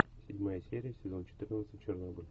седьмая серия сезон четырнадцать чернобыль